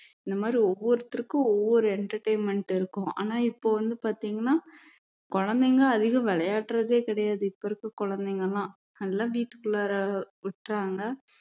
இந்த மாதிரி ஒவ்வொருத்தருக்கும் ஒவ்வொரு entertainment இருக்கும் ஆனா இப்போ வந்து பார்த்தீங்கன்னா குழந்தைங்க அதிகம் விளையாடுறதே கிடையாது இப்போ இருக்கிற குழந்தைங்க எல்லாம் எல்லாம் வீட்டுக்குள்ளார விட்றாங்க